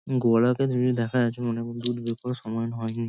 গোয়ালাতে যদিও দেখা যাচ্ছে। মানে গোরুর দুধ বের করার সময় হয়নি ।